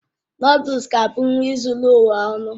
Nụ́dúls es ga-abụ nri zuru ụwa ọnụ